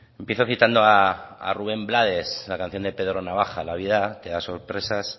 empiezo citando a rubén blades la canción de pedro navaja la vida te da sorpresas